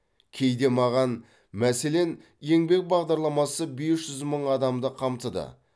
кейде маған мәселен еңбек бағдарламасы бес жүз мың адамды қамтыды